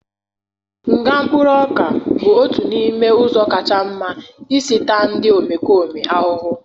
Nga mkpụrụ ọka bụ otu n'ime ụzọ kacha mma isi taa ndị omekome ahụhụ